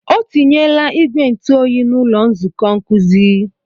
O tinyela ìgwè ntụ oyi n'ụlọ nzukọ nkuzi.